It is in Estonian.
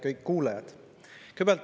Kõik kuulajad!